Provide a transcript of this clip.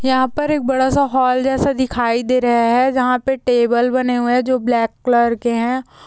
यहाँ पर एक बड़ा सा हॉल जैसा दिखाई दे रहा है जहाँ पे टेबल बने हुए है जो ब्लैक कलर के हैं।